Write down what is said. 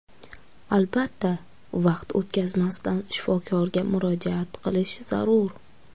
Albatta, vaqt o‘tkazmasdan shifokorga murojaat qilish zarur.